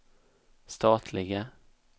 statliga